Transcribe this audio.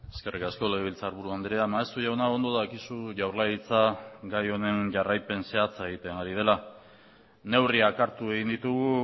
eskerrik asko legebiltzarburu andrea maeztu jauna ondo dakizu jaurlaritza gai honen jarraipen zehatza egiten ari dela neurriak hartu egin ditugu